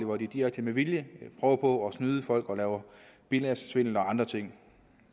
hvor de direkte med vilje prøver på at snyde folk og laver bilagssvindel og andre ting